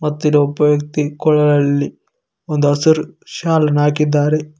ಮತ್ತು ಇಲ್ಲಿ ಒಬ್ಬ ವ್ಯಕ್ತಿ ಕೊಲಹಳ್ಳಿ ಒಂದು ಹಸಿರು ಶಾಲ್ ಅನ್ನು ಹಾಕಿದ್ದಾರೆ.